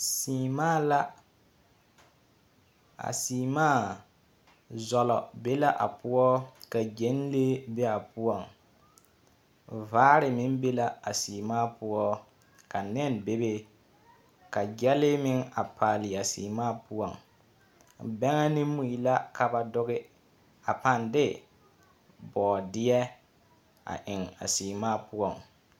Seemaa la, a seemaa zɔlɔ be la a poɔ, ka gyɛnlee be a poɔŋ, vaare meŋ be la a seemaa poɔ, ka nɛn be be, ka gyɛnlee meŋ a paale a seemaa poɔŋ, bɛŋɛ ne mui la ka ba doge a paaŋ de bɔɔdeɛ a eŋ a seemaa poɔ. 13419